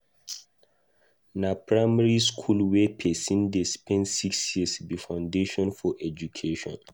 Na primary skool wey pesin dey spend six years be foundation for education.